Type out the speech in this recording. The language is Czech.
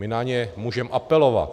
My na ně můžeme apelovat.